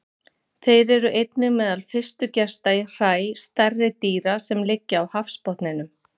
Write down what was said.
Þeir eru einnig meðal fyrstu gesta í hræ stærri dýra sem liggja á hafsbotninum.